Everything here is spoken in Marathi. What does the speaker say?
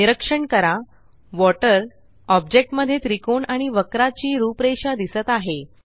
निरीक्षण करा वॉटर ऑब्जेक्ट मध्ये त्रिकोण आणि वक्राची रूपरेषा दिसत आहे